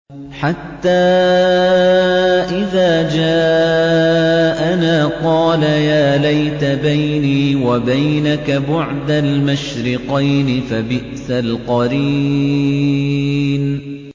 حَتَّىٰ إِذَا جَاءَنَا قَالَ يَا لَيْتَ بَيْنِي وَبَيْنَكَ بُعْدَ الْمَشْرِقَيْنِ فَبِئْسَ الْقَرِينُ